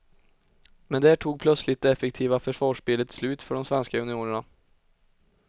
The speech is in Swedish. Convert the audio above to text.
Men där tog plötsligt det effektiva försvarsspelet slut för de svenska juniorerna.